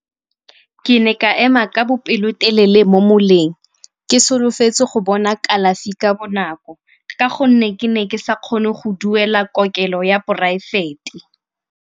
Ke ne ka ema ka bopelotelele mo moleng, ke solofetse go bona kalafi ka bonako ka gonne ke ne ke sa kgone go duela kokelo ya poraefete.